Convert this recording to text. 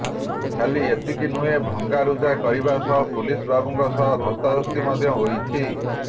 ଖାଲି ଏତିକି ନୁହେଁ ଭଙ୍ଗାରୁଜା କରିବା ସହ ପୁଲିସବାବୁଙ୍କ ସହ ଧସ୍ତାଧସ୍ତି ମଧ୍ୟ ହୋଇଛନ୍ତି